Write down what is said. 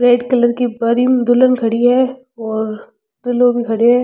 Red colour की बानी दुल्हन खड़ी है और दूल्हों भी खड़ो है।